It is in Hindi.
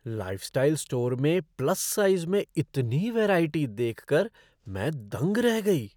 लाइफ़स्टाइल स्टोर में प्लस साइज़ में इतनी वैराइटी देख कर मैं दंग रह गई।